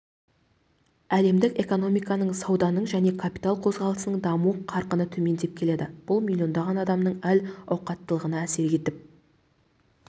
әлемдік экономиканың сауданың және капитал қозғалысының даму қарқыны төмендеп келеді бұл миллиондаған адамның әл-ауқаттылығына әсер етіп